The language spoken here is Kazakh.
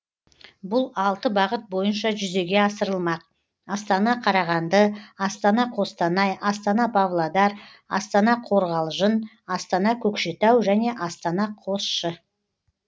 бұл алты бағыт бойынша жүзеге асырылмақ астана қарағанды астана қостанай астана павлодар астана қорғалжын астана көкшетау және астана қосшы